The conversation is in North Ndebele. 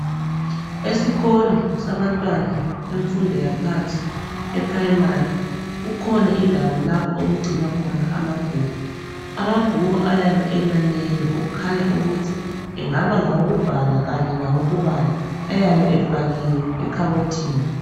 Esikolo sabantwana bemfundo yaphansi e primary kukhona indawo lapho okugcina amabhuku. Amabhuku ayabe eminengi okukhanya ukuthi engabe ngawokubhaka Kanye kawokubala ayabe efakiwe ekhabothini.